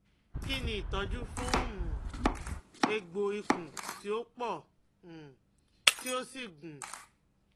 Kini itọju fun um egbo ikun ti o pọ um ti o si gun-un?